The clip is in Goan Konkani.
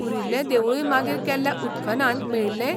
उरिल्लें देवूळय मागीर केल्ल्या उत्खननांत मेळिल्लें?